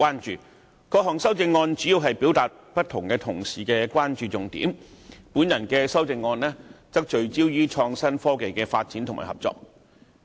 主要來說，各項修正案表達了各同事不同的關注重點，而我提出的修正案則聚焦於創新科技的發展及合作。